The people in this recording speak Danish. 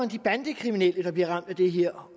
de bandekriminelle der bliver ramt af det her